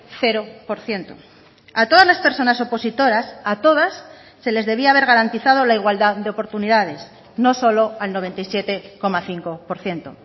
cero por ciento a todas las personas opositoras a todas se les debía haber garantizado la igualdad de oportunidades no solo al noventa y siete coma cinco por ciento